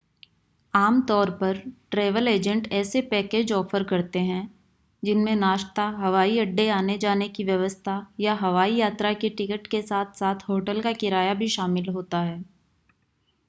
आम तौर पर ट्रैवल एजेंट ऐसे पैकेज ऑफ़र करते हैं जिनमें नाश्ता हवाई अड्डे आने-जाने की व्यवस्था या हवाई यात्रा की टिकट के साथ-साथ होटल का किराया भी शामिल होता है